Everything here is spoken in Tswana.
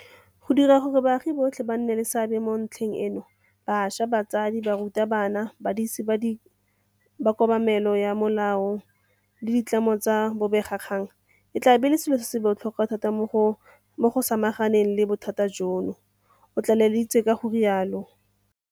Go dira gore baagi botlhe ba nne le seabe mo ntlheng eno bašwa, batsadi, barutabana, badisi ba kobamelo ya molao le ditlamo tsa bobegakgang e tla bo e le selo sa botlhokwa thata mo go samaganeng le bothata jono, o tlaleleditse ka go rialo.